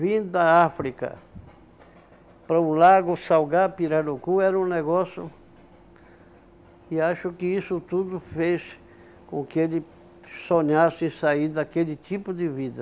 Vindo da África para um lago salgar pirarucu era um negócio... E acho que isso tudo fez com que ele sonhasse em sair daquele tipo de vida.